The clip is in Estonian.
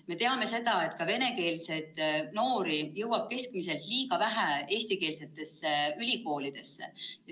Me teame ka seda, et venekeelseid noori jõuab keskmiselt liiga vähe eestikeelsetesse ülikoolidesse.